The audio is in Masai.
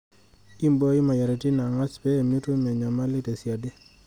Imbooi moyiaritin angas pee mitum enyamali tesiadi.